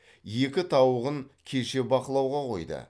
екі тауығын кеше бақылауға қойды